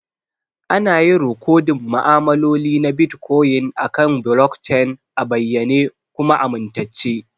Ana yin rikodin ma'amaloli na Bitcoin akan blockchain a bayyane kuma amintacce.